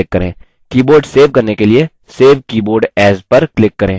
keyboard save करने के लिए save keyboard as पर click करें